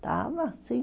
Estava, sim.